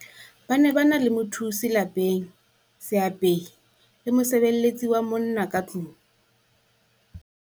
Ba ne ba na le mothusi lapeng, seapehi le mosebeletsi wa monna ka tlong.